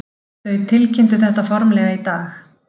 Þau tilkynntu þetta formlega í dag